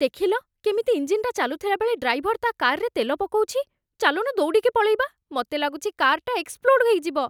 ଦେଖିଲ, କେମିତି ଇଞ୍ଜିନ୍‌ଟା ଚାଲୁଥିଲା ବେଳେ ଡ୍ରାଇଭର ତା' କାର୍‌ରେ ତେଲ ପକଉଛି । ଚାଲୁନ ଦୌଡ଼ିକି ପଳେଇବା ମତେ ଲାଗୁଛି କାର୍‌ଟା ଏକ୍ସପ୍ଲୋଡ଼୍ ହେଇଯିବ ।